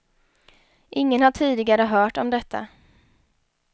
Ingen har tidigare hört om detta.